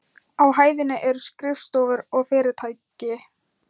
Á hæðinni eru skrifstofur og fyrirtæki.